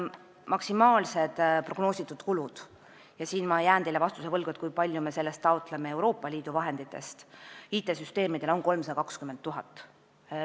Maksimaalsed prognoositud kulud IT-süsteemide jaoks on 320 000.